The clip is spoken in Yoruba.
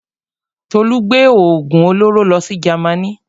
Tolú gbé òògùn olóró lọ sí Jamaní.